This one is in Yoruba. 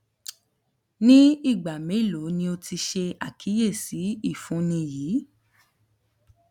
ni igba melo ni o ti ṣe akiyesi ifunni yii